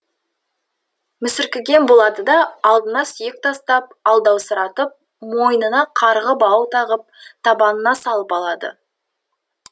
мүсіркеген болады да алдына сүйек тастап алдаусыратып мойныңа қарғы бау тағып табанына салып алады